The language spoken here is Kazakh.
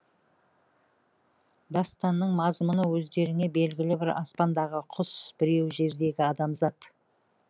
дастанның мазмұны өздеріңе белгілі бірі аспандағы құс біреуі жердегі адамзат